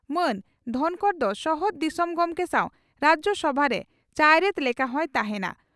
ᱢᱟᱹᱱ ᱫᱷᱚᱱᱠᱚᱨ ᱫᱚ ᱥᱚᱦᱚᱫ ᱫᱤᱥᱚᱢ ᱜᱚᱢᱠᱮ ᱥᱟᱣ ᱨᱟᱡᱭᱚᱥᱚᱵᱷᱟᱨᱮ ᱪᱟᱭᱨᱮᱛ ᱞᱮᱠᱟ ᱦᱚᱸᱭ ᱛᱟᱦᱮᱸᱱᱟ ᱾